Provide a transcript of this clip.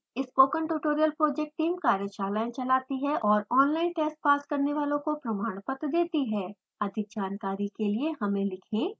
spoken tutorial project team कार्यशालाएं चलाती है और ऑनलाइन टेस्ट पास करने वालों को प्रमाणपत्र देती है